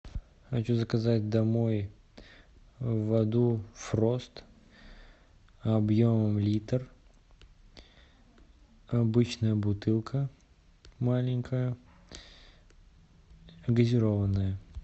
хочу заказать домой воду фрост объемом литр обычная бутылка маленькая газированная